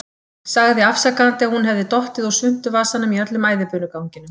Sagði afsakandi að hún hefði dottið úr svuntuvasanum í öllum æðibunuganginum.